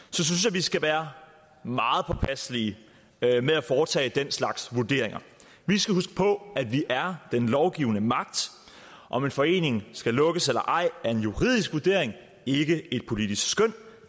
vi skal være meget påpasselige med at foretage den slags vurderinger vi skal huske på at vi er den lovgivende magt om en forening skal lukkes eller ej er en juridisk vurdering ikke et politisk skøn